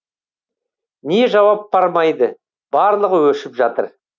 не жауап бармайды барлығы өшіп жатыр